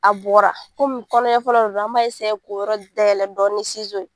A bɔra komi kɔnɔɲɛ fɔlɔ de do an b'a k'o yɔrɔ dayɛlɛ dɔɔni ni